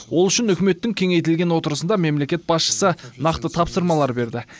ол үшін үкіметтің кеңейтілген отырысында мемлекет басшысы нақты тапсырмалар берді